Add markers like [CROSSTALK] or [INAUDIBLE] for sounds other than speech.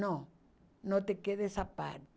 Não, não te [UNINTELLIGIBLE] essa parte.